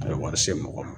A ye wari se mɔgɔ ma